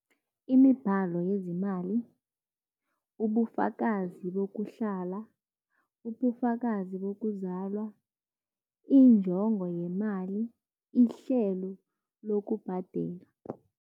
Imibhalo yezemali, ubufakazi bokuhlala, ubufakazi bokuzalwa, injongo yemali, ihlelo lokubhadela.